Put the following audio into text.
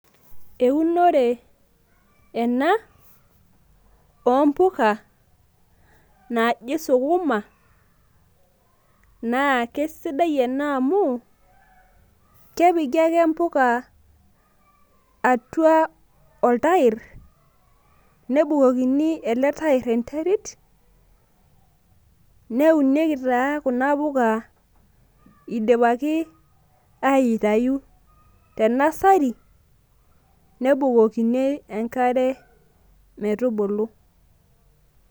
eunore ena, oompuka naji sukuma, naa kisidai ena amu kepiki ake mpuka atua entair, nebukokini oltair enterit, neunieki taa kuna puka idipaki aitaayu te nsari, nebukokini enkare metubulu.